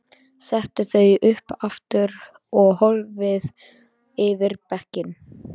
Setur þau upp aftur og horfir yfir bekkinn.